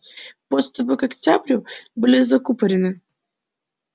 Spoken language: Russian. подступы к октябрю были закупорены